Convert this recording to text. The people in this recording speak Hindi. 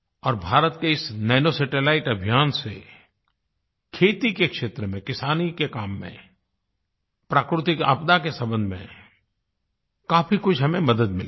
और भारत के इस नानो सैटेलाइट अभियान से खेती के क्षेत्र में किसानी के काम में प्राकृतिक आपदा के संबंध में काफ़ी कुछ हमें मदद मिलेगी